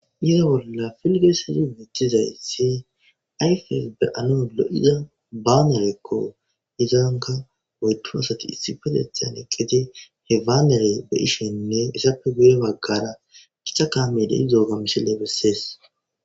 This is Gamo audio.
Yozo bolla filgeesezi mithizayssi ayfes be'ano lo'ida baanerekko izaanka woytu asati issi petethan eqqiti he waanere be ishenne issappe guye baggara gicha kaamedey zooga misile bessees.